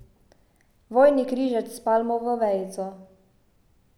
Vojni križec s palmovo vejico.